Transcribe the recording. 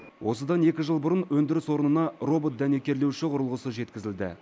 осыдан екі жыл бұрын өндіріс орнына робот дәнекерлеуші құрылғысы жеткізілді